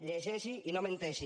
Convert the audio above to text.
llegeixi i no menteixi